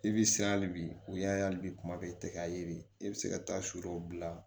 I bi siran hali bi u y'a ye hali bi kuma bɛɛ i tɛ ka ye i bɛ se ka taa su dɔw bila